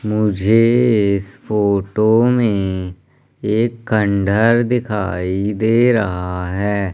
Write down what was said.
मुझे इस फोटो में एक खंडहर दिखाई दे रहा है।